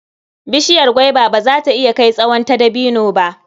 Bishiyar gwaiba ba za ta iya kai tsawon ta dabino ba.